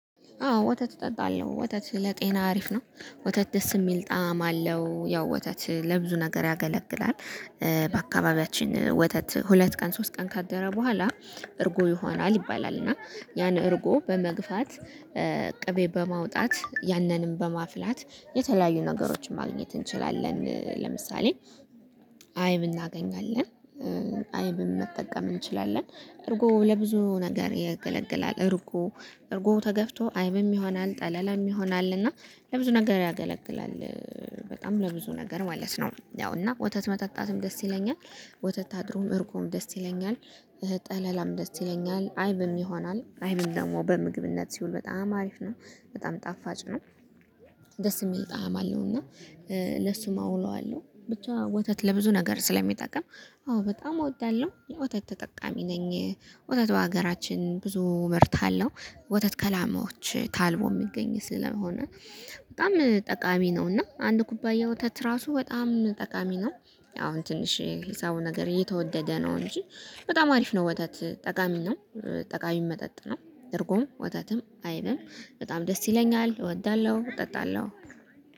አዎ ወተት እጠጣለሁ ወተት ለጤና አሪፍ ነው ወተት ደስ የሚል ጣዕም አለው ያው ወተት ለብዙ ነገር ያገለግላል። በአካባቢያችን ወተት ሁለት ቀን ሶስት ቀን ካደረ በኋላ። እርጎ ይሆናል ይባላል። እና ያን እርጎ በመግፋት ቅቤ በማውጣት ያንንም በማፍላት የተለያዩ ነገሮችን ማግኘት እንችላለን። ለምሳሌ አይብ እናገኛለን። አይብም መጠቀም እንችላለን እርጎ ለብዙ ነገር ይገለግላል። እርጎ እርጎ ተገፍቶ አይብም ይሆናል ጠለላም ይሆናል እና ለብዙ ነገር ያገለግላል። በጣም ለብዙ ነገር ማለት ነው። ያው እና ወተት መጠጣትም ደስ ይለኛል። ወተት አድሮም እርጎም ደስ ይለኛል። ጠለላም ደስ ይለኛል አይብም ይሆናል አይብም ደግሞ በምግብነት ሲውል በጣም አሪፍ ነው። በጣም ጣፋጭ ነው። ደስ የሚል ጣዕም አለው እና ለሱም አውለዋለሁ ብቻ ወተት ለብዙ ነገር ስለሚጠቅም። አዎ በጣም እወዳለሁ የወተት ተጠቃሚ ነኝ። ወተት በሀገራችን ብዙ ምርት አለው። ወተት ከላማዎች ታልሞ የሚገኝ ስለሆነ በጣም ጠቃሚ ነው። እና አንድ ኩባያ ወተት ራሱ በጣም ጠቃሚ ነው። አሁን ትንሽ የሂሳቡ ነገር እየተወደደ ነው እንጂ። በጣም አሪፍ ነው ወተት ጠቃሚ ነው። ጠቃሚ መጠጥ ነው። እርጎም ወተትም አይብም በጣም ደስ ይለኛል እወዳለሁ እጠጣለሁ